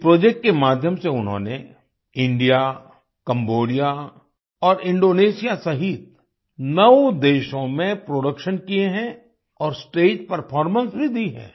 इस प्रोजेक्ट के माध्यम से उन्होंने इंडिया कैम्बोडिया और इंडोनेशिया सहित नौ देशों में प्रोडक्शन किये हैं और स्टेज परफॉर्मेंस भी दी है